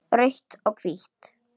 Rautt og hvítt